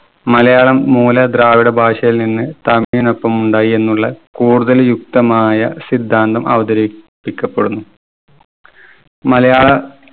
മലയാളം മൂലദ്രാവിഡ ഭാഷയിൽ നിന്ന് തമിഴിനൊപ്പം ഉണ്ടായി എന്നുള്ള കൂടുതൽ യുക്തമായ സിദ്ധാന്തം അവതരിപ്പിക്കപ്പെടുന്നു. മലയാള